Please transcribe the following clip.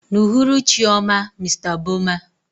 N'uhuruchi ọma, Mr Boma.